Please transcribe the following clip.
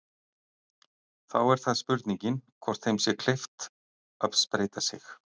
Þá er spurningin hvort þeim sé gert það kleift að spreyta sig.